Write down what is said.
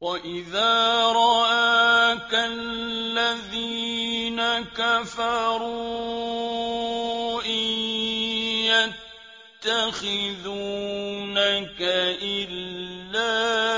وَإِذَا رَآكَ الَّذِينَ كَفَرُوا إِن يَتَّخِذُونَكَ إِلَّا